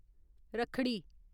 रक्खड़ी